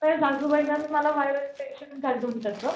सासूबाईला न मला viral infection झालंत म्हणजे त्याच,